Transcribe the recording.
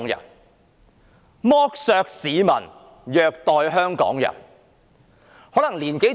我重複：是剝削市民，虐待香港人。